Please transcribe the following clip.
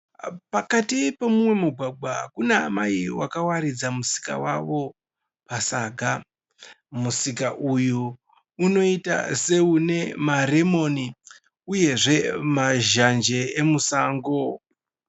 Pakati pemumwe mugwagwa kunaamai vakawaridza musika wavo pasaga. Musika uyu unoita seune maromoni uyezve mazhanje emusango.